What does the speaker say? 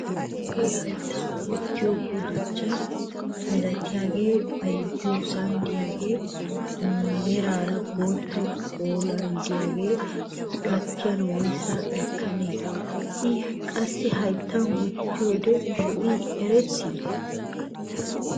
Hagee hayttan wottiyoo guduchchaa milatiyaagee bayzziyoosan de'iyaagee meraara bottabaa bollan de'iyaagee gatiyaan woyssaa ekkanee? i qassi hayttan wottiyoode lo"ii eretii?